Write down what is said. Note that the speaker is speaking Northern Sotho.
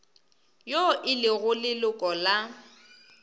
yo e lego leloko la